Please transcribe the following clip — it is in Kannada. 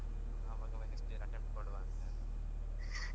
ಆವಾಗ next year attempt ಕೊಡ್ವ ಅಂತ.